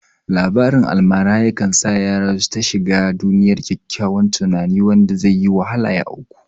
Labarin almara yakan sa yara su ta shiga duniyar ƙyaƙƙyawan tunani wanda zaiyi wahala ya auku